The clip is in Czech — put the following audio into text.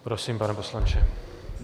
Prosím, pane poslanče.